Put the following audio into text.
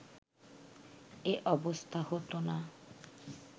এ অবস্থা হতোনা